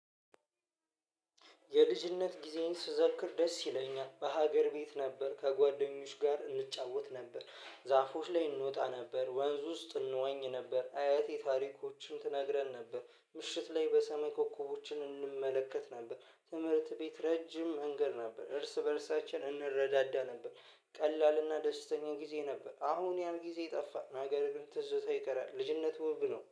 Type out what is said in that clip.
የልጅነት ጊዜየን ስዘክር ደስ ይለኛል በሀገር ቤት ነበር ከጓደኞች ጋር እንጫወት ነበር። ዛፎች ላይ እንወጣ ነበር ወንዝ ውስጥ እንዋኝ ነበር አያቴ ታሪኮችን ትነግረን ነበር። ምሽት ላይ በሰማይ ኮኮቦችን እንመለከት ነበር። ትምህርት ቤት ረጅም መንገድ ነበር እርስ በእርሳችን እንረዳዳ ነበር። ቀላልና ደስተኛ ጊዜ ነበር። አሁን ያን ጊዜ ጠፋ ነገር ግን ትዝታ ይቀራል። ልጅነት ወብ ነው